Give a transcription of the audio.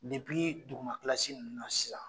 duguma kilasi nunnu na sisan